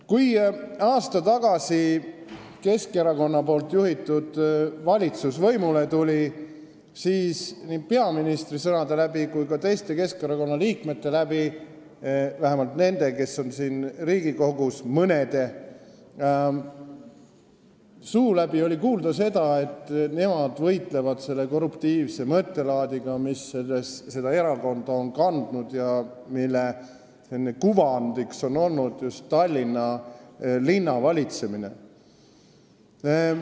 Kui Keskerakonna juhitud valitsus aasta tagasi võimule tuli, siis nii peaministri suu läbi kui ka teiste Keskerakonna liikmete, vähemalt nende liikmete või mõne liikme, kes on siin Riigikogus, suu läbi oli kuulda, et nad võitlevad korruptiivse mõttelaadiga, mis selles erakonnas on olnud ja mille kuvandiks on olnud just Tallinna linna valitsemine.